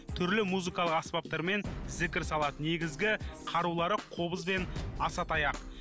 түрлі музыкалық аспаптармен зікір салады негізгі қарулары қобыз бен асатаяқ